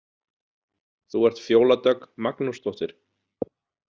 Þú ert Fjóla Dögg Magnúsdóttir?